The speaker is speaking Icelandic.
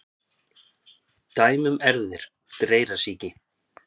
Dæmi um erfðir dreyrasýki: